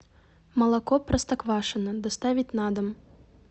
молоко простоквашино доставить на дом